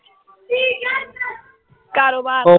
ਕਾਰੋਬਾਰ